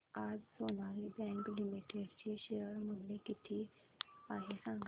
आज Sonali bank limited चे share मूल्य किती आहे सांगा